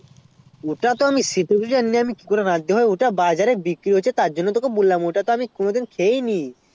ওটাতো আমিও সেটাও জানি না আমি কি করে রাঁধতে হয় ওটা বাজারে বিক্রি হচ্ছে তার জন্য বললাম ওটাতো আমি কোনো দিন খেয়েনি